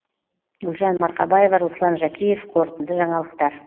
гүлжан марқабаева руслан жәкеев қорытынды жаңалықтар